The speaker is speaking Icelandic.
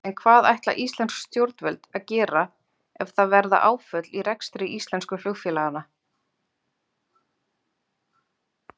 En hvað ætla íslensk stjórnvöld að gera ef það verða áföll í rekstri íslensku flugfélaganna?